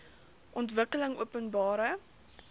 ontwikkelingopenbare